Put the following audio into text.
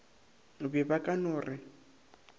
be ba ka no re